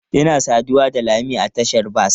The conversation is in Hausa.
Ina saduwa da lami a tashar bas.